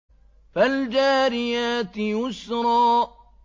فَالْجَارِيَاتِ يُسْرًا